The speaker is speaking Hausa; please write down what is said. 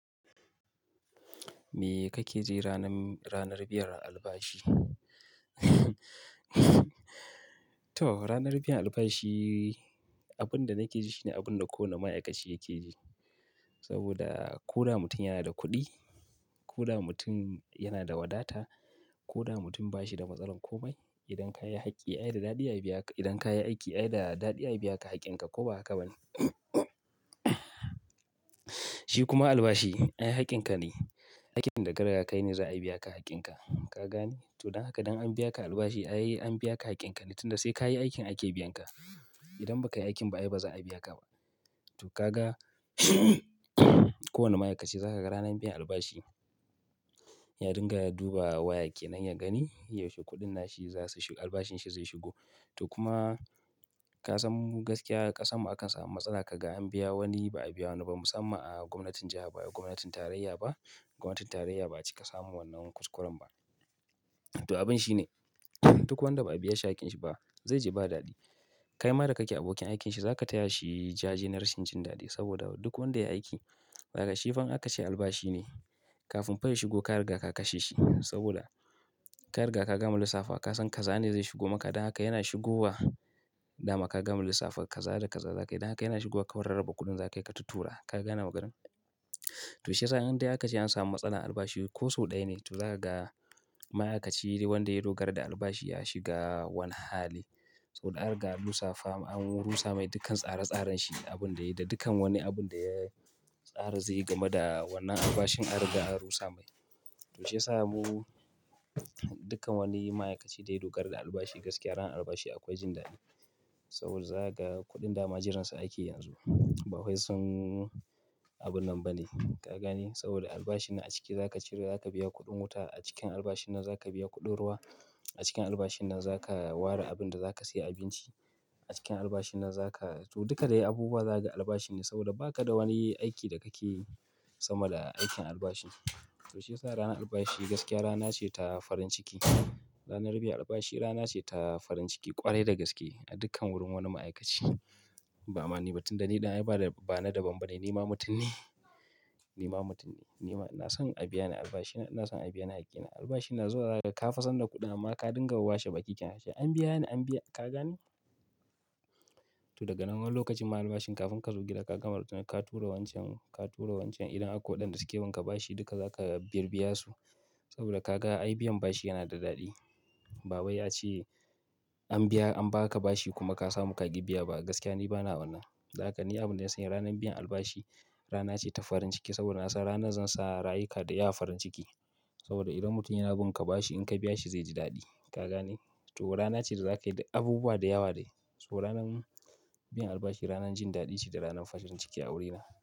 Me kake ji ranam ranar biyan albashi? To ranar biyan albashi, abin da nake ji shine abin da kowane ma'aikaci yake ji. Saboda koda mutum yana da kuɗi, koda mutum yana da wadata, ko da mutum ba shi da matsalar komai. Idan ka yi aiki, ai da daɗi ai biya ka, haƙƙin ka ko ba ka bani. Shi kuma albashi ai haƙƙin ka ne, aikin da ka riga ka yi ne za a biya ka haƙƙin ka. Ka gane? Toh don haka dan an biya ka albashi ai an biya ka haƙƙin ka ne, tunda sai ka yi aikin ake biya ka. Idan ba ka yi aikin ba ai ba za a biya ka ba. Toh ka ga, kowane ma'aikaci za ka ga ranar biyan albashi ya dinga ya duba waya kenan ya gani yaushe kuɗin na shi za su shigo, albashin shi zai shigo. Toh kuma ka san mu gaskiya ƙasarmu akansa matsala ka gan an biya wani ba a biya wani ba. Musamman a gwamnatin jiha ba, a gwamnatin tarayya ba. Gwamnatin tarayya ba kika samu wannan kuskuren ba. Toh abin shine, duk wanda ba a biya shi hakkin shi ba zai ji ba daɗi. Kai ma da kake abokin aikin shi za ka taya shi jaje na rashin jin daɗi. Saboda duk wanda ya yi aiki, daga shifan aka ce albashi ne. Kafin fa ya shigo ka riga ka kashe shi. Saboda ka riga ka gama lissafa kasan kaza ne zai shigo maka. Don haka yana shigowa dama ka gama lissafa kaza da kaza za ka yi. Don haka yana shigowa kawai raraba kuɗin za ka yi ka tura tura Ka gane maganar? Toh shi ya sa in dai aka ce an samu matsala albashi ko sau ɗaya ne, toh za ka ga ma'aikaci wanda ya dogara da albashi ya shiga wani hali. Saboda an riga an lissafa an rusa mai dukkan tsare tsaren shi abin da ya yi da dukkan wani abun da ya tsara zai gama da wannan albashin an riga an rusa mai. Toh shi ya sa mu dukkan wani ma'aikaci da ya dogara da albashi gaskiya ranar albashi akwai jin daɗi. Saboda za ka ga kuɗin dama jirinsa ake yanzu ba wai sun abun nan ba ne. Ka gane? Saboda albashin na a ciki za ka ciro za ka biya kuɗin wuta, a cikin albashin nan za ka biya kuɗin ruwa, a cikin albashin nan za ka ware abin da za ka saye abinci. A cikin albashin nan za ka to duka dai abubuwa za ka ga albashi ne saboda ba ka da wani aiki da kake sama da aikin albashi. To shi ya sa ranar albashi gaskiya rana ce ta farin ciki. Ranar biyan albashi rana ce ta farin ciki ƙwarai da gaske a dukkan wurin wani ma'aikaci. Ba'a ma ni, ba tunda ni ɗin ai ba da bana danbam ne. Ni ma mutum ne. Ni ma mutum ne. Ni ma ina san an biya ni albashi na, ina san an biya ni hakkina. Albashin na zuwa da ka fa san da kuɗin amma ka dinga washe baki kenan she. An biya ni an biya ka gane? Toh daga nan wani lokacin ma albashin kafin ka zo gida ka gama rutuna ka tura wancan, ka tura wancan idan akwai waɗanda suke bin ka bashi duka za ka bir biya su. Saboda ka ga ai biyan bashi yana da daɗi. Baba ya ce an biya an ba ka bashi kuma ka samu ka ƙi biya ba. Gaskiya ni bana wannan. Dan haka ni abin da gaskiya ranar biyan albashi rana ce ta farin ciki saboda na san ranar zan sa rayuka da yawa farin ciki. Saboda idan mutum yana bin ka bashi in ka biya shi zai ji daɗi. Ka gane? To rana ce da za ka yi abubuwa da yawa dai. So ranar biyan albashi ranar jin daɗi ce da ranar farcin ciki a wurina.